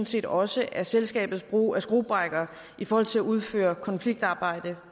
set også at selskabets brug af skruebrækkere i forhold til at udføre konfliktramt arbejde